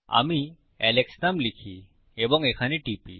আমি আলেক্স নাম লিখি এবং এখানে টিপি